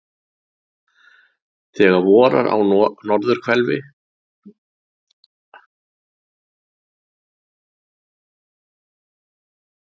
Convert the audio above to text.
Þegar vorar á norðurhveli flýgur hún aftur til baka á varpstöðvarnar.